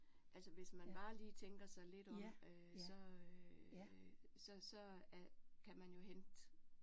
Altså hvis man bare lige tænker sig lidt om øh så så så kan man jo hente